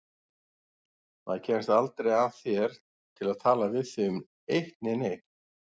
Maður kemst aldrei að þér til að tala við þig um eitt né neitt.